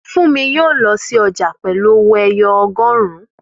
Fúnmi yóò lọ sí ọjà pẹ̀lú owó ẹyọ ọgọrun